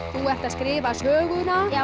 þú ert að skrifa söguna já